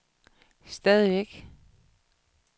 stadigvæk